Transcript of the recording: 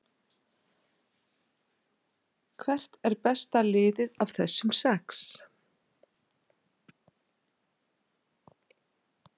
Hvert er besta liðið af þessum sex?